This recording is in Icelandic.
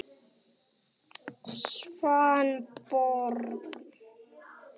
Svanborg